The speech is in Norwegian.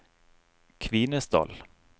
Kvinesdal